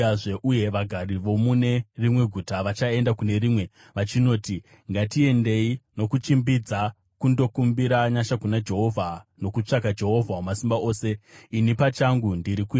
uye vagari vomune rimwe guta vachaenda kune rimwe vachinoti, ‘Ngatiendei nokuchimbidza kundokumbira nyasha kuna Jehovha, nokutsvaka Jehovha Wamasimba Ose. Ini pachangu ndiri kuenda.’